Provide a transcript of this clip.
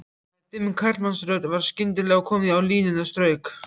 Þegar dimm karlmannsrödd var skyndilega komin á línuna strauk